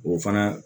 O fana